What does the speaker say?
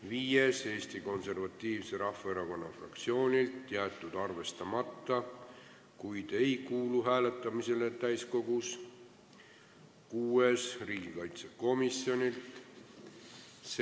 Viies on Eesti Konservatiivse Rahvaerakonna fraktsioonilt ja jäetud arvestamata, kuid ei kuulu täiskogus hääletamisele.